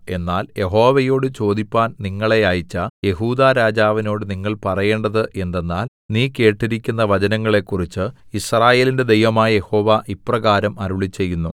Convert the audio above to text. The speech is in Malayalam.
എന്നാൽ യഹോവയോട് ചോദിപ്പാൻ നിങ്ങളെ അയച്ച യെഹൂദാരാജാവിനോട് നിങ്ങൾ പറയേണ്ടത് എന്തെന്നാൽ നീ കേട്ടിരിക്കുന്ന വചനങ്ങളെക്കുറിച്ച് യിസ്രായേലിന്റെ ദൈവമായ യഹോവ ഇപ്രകാരം അരുളിച്ചെയ്യുന്നു